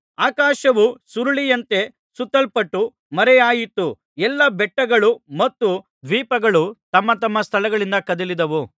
ಆಕಾಶವು ಸುರುಳಿಯಂತೆ ಸುತ್ತಲ್ಪಟ್ಟು ಮರೆಯಾಯಿತು ಎಲ್ಲಾ ಬೆಟ್ಟಗಳು ಮತ್ತು ದ್ವೀಪಗಳು ತಮ್ಮತಮ್ಮ ಸ್ಥಳಗಳಿಂದ ಕದಲಿದವು